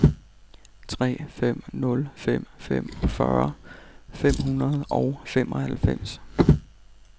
tre fem nul fem femogfyrre fem hundrede og enoghalvfems